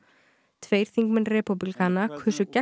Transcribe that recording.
tveir þingmenn repúblikana kusu gegn